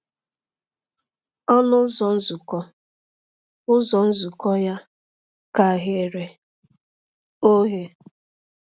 Ọnụ ụzọ nzukọ ụzọ nzukọ ya ka ghere oghe.